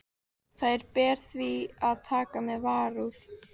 Þær ber því að taka með varúð.